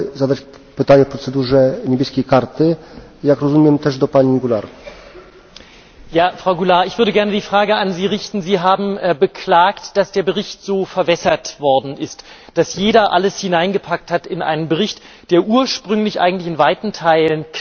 Frau Goulard, Sie haben beklagt, dass der Bericht so verwässert worden ist, dass jeder alles hineingepackt hat in einen Bericht, der ursprünglich eigentlich in weiten Teilen klar war und eine deutliche liberale Handschrift getragen hat, der auch Probleme richtig analysiert hat.